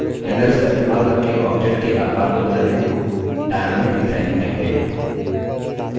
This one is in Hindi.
handles का इस्तेमाल करके object के आकर को बदलने को dynamic resizing कहते हैं